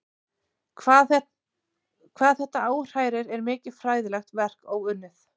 Hvað þetta áhrærir er mikið fræðilegt verk óunnið.